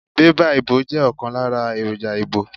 Bébà ìbò jẹ́ ọ̀kan lára èròjà ìbò.